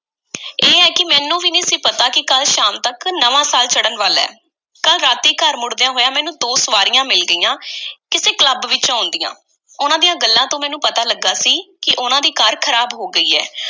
ਇਹ ਐ ਕਿ ਮੈਨੂੰ ਵੀ ਨਹੀਂ ਸੀ ਪਤਾ ਕਿ ਕੱਲ੍ਹ ਸ਼ਾਮ ਤੱਕ ਨਵਾਂ ਸਾਲ ਚੜ੍ਹਨ ਵਾਲਾ ਐ। ਕੱਲ੍ਹ ਰਾਤੀਂ ਘਰ ਮੁੜਦਿਆਂ ਹੋਇਆਂ ਮੈਨੂੰ ਦੋ ਸਵਾਰੀਆਂ ਮਿਲ ਗਈਆਂ, ਕਿਸੇ club ਵਿੱਚੋਂ ਆਉਂਦੀਆਂ। ਉਹਨਾਂ ਦੀਆਂ ਗੱਲਾਂ ਤੋਂ ਮੈਨੂੰ ਪਤਾ ਲੱਗਾ ਸੀ ਕਿ ਉਹਨਾਂ ਦੀ ਕਾਰ ਖ਼ਰਾਬ ਹੋ ਗਈ ਐ।